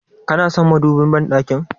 Kana son madubin banɗakin?